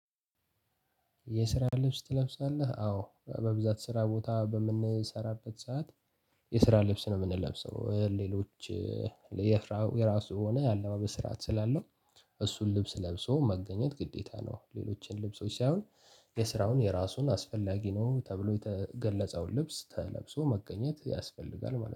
የስራ ልብስ ትለብሳለህ አዎ በብዛት ስራ ቦታ በምንሰራበት ሰዓት የስራ ልብስ ነው የምንለብሰው ሌሎች የራሱ የሆነ አለባበስ ስርዓት ስላለው እሱን ልብስ ለብሶ መገኘት ግዴታ ነው። ሌሎችን ልብሶች ሳይሆን የስራውን የራሱን አስፈላጊ ነው ተብሎ የተገለጸውን ልብስ ተለብሶ መገኘት ያስፈልጋል ማለት ነው